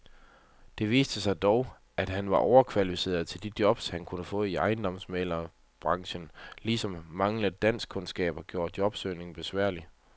Det viste sig dog, at han var overkvalificeret til de jobs, han kunne få i ejendomsmæglerbranchen, ligesom manglende danskkundskaber gjorde jobsøgningen besværlig.